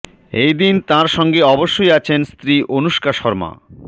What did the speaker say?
এই দিন তাঁর সঙ্গে অবশ্যই আছেন স্ত্রী অনুষ্কা শর্মা